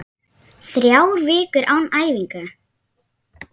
Þrjár vikur án æfinga?